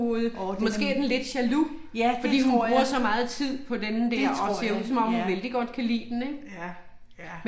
Årh der er den. Ja det tror jeg. Det tror jeg, ja. Ja. Ja